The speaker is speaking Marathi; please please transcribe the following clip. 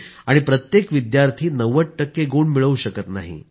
आणि प्रत्येक विद्यार्थी 90 टक्के गुण मिळवू शकत नाही